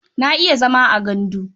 Na iya zama a gandu.